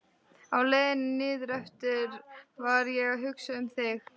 Á leiðinni niðureftir var ég að hugsa um þig.